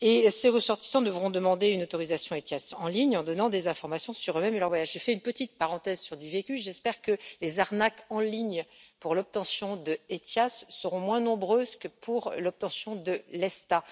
Ces ressortissants devront demander une autorisation ETIAS en ligne en donnant des informations sur eux-mêmes et leur voyage. Je fais une petite parenthèse sur du vécu, j'espère que les arnaques en ligne pour l'obtention d'ETIAS seront moins nombreuses que pour l'obtention de l'ESTA.